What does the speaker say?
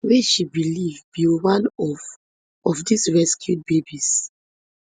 wey she believe be one of of dis rescued babies